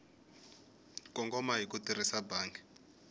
kongoma hi ku tirhisa bangi